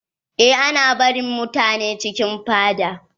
Eh ana barin mutane cikin fada.